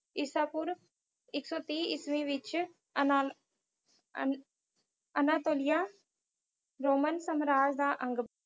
ਈਸਾਪੂਰਵ ਇੱਕ ਸੌ ਤੀਹ ਈਸਵੀ ਵਿੱਚ ਅਨ~ ਅਨ~ ਅਨਾਤੋਲਿਆ ਰੋਮਨ ਸਾਮਰਾਜ ਦਾ ਅੰਗ